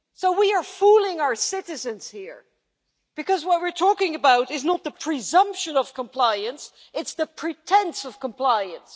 We are fooling our citizens here because what we're talking about is not the presumption of compliance, it's the pretence of compliance.